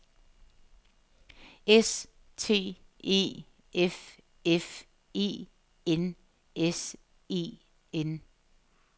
S T E F F E N S E N